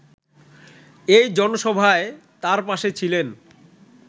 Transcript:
এই জনসভায় তাঁর পাশে ছিলেন